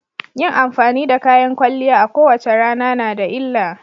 Yin amfani da kayan kwalliya a kowace rana na da illa.